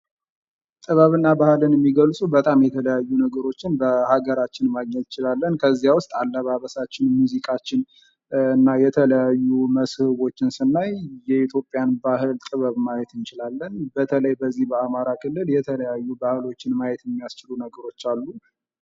ጥበብ እና ባህል የሚገልጹ በጣም የተለያዩ ነገሮችን በአገራችን ማግኘት እንችላለን። ከዚያ ውስጥ አለባበሳችን፣ ሙዚቃችን እና የተለያዩ መስህቦችን ስናይ የኢትዮጵያን ባህል ጥበብ ማየት እንችላለን ።በተለይ በዚህ በአማራ ክልል የተለያዩ ባህሎችን ማየት የሚያስችሉ ነገሮች አሉ።